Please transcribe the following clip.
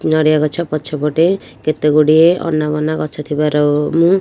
ନଡ଼ିଆ ଗଛ ପଛ ପଟେ କେତେଗୁଡିଏ ଅନାବନା ଗଛ ଥିବାରୁ ମୁଁ --